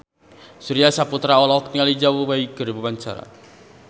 Surya Saputra olohok ningali Zhao Wei keur diwawancara